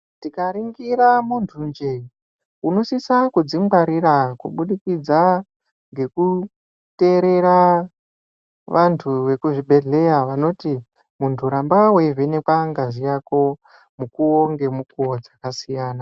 Tikaringira muntu nje Unosisa kudzingwarira kubudikidza ngekuteerera vantu vekuzvibhedhleya vanoti muntu ramva weivhenekwa ngazi yako gako mukuwo ngemukuwo dzakasiyana.